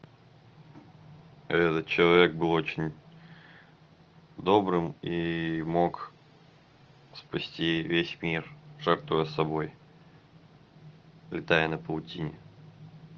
этот человек был очень добрым и мог спасти весь мир жертвуя собой летая на паутине